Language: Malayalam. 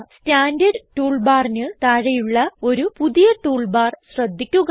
സ്റ്റാൻഡർഡ് ടൂൾ ബാറിന് താഴെയുള്ള ഒരു പുതിയ ടൂൾബാർ ശ്രദ്ധിക്കുക